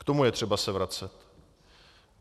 K tomu je třeba se vracet.